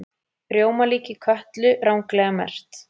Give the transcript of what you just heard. Rjómalíki Kötlu ranglega merkt